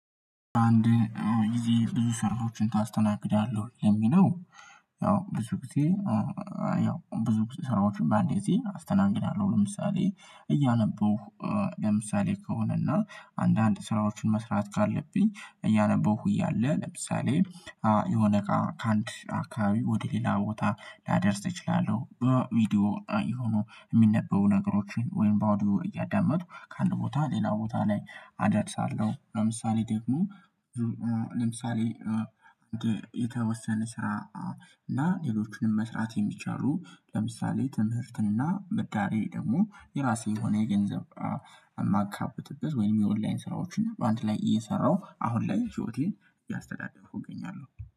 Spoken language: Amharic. አንድ ጊዜ ብዙ ስራዎችን ታስተናግዳለሁ የሚለው ያው ብዙ ጊዜ ያው ብዙ ስራዎችን በአንድ ጊዜ አስተናግዳለሁ። ለምሳሌ እያነበሁ ለምሳሌ ከሆነና አንዳንድ ስራዎችን መስራት ካለብኝ እያነበሁ እያለ ለምሳሌ የሆነ እቃ አካባቢ ወደ ሌላ ቦታ ላደርስ እችላለሁ በቪዲዮ የሆኑ የሚነበቡ ነገሮችን ወይም ባዶ እያዳመጥኩ ከአንድ ቦታ ሌላ ቦታ ላይ አደርሳለሁ። ለምሳሌ ደግሞ ለምሳሌ የተወሰነ ስራ እና ሌሎቹንም መስራት የሚቻሉ ለምሳሌ ትምህርትና ምዳሬ ደግሞ የራሴ የሆነ የገንዘብ የማካበትበት ወይም የኦንላይን ስራዎችን አንድ ላይ እየሰራሁ አሁን ላይ ህይወቴን ቢያስተዳድሩ እገኛለሁ